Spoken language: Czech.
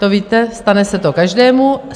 To víte, stane se to každému.